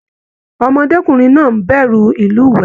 Ọmọdékunrin náà n bẹrù ilúwẹ.